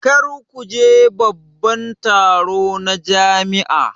Kar ku je babban taro na jami'a